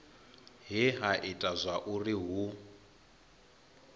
he ha ita zwauri hu